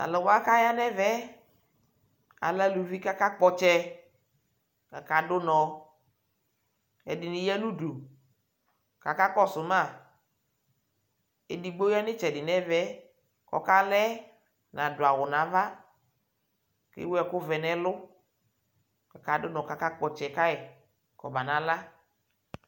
Tʋ alʋ wa kʋ aya nʋ ɛmɛ, alɛ alʋvi kʋ akakpɔ ɔtsɛ kʋ akadʋ ʋnɔ Ɛdɩnɩ ya nʋ udu kʋ akakɔsʋ ma Edigbo ya nʋ ɩtsɛdɩ nʋ ɛmɛ kʋ ɔkala yɛ nadʋ awʋ nʋ ava Ewu ɛkʋvɛ nʋ ɛlʋ Akadʋ ʋnɔ kʋ akakpɔ ɔtsɛ ka yɩ kɔbanala